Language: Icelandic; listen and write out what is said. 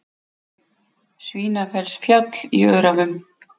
Svínafellsfjall í Öræfum.